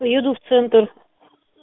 еду в центр